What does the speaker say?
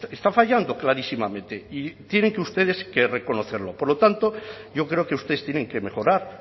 está fallando clarísimamente y tienen ustedes que reconocerlo por lo tanto yo creo que ustedes tienen que mejorar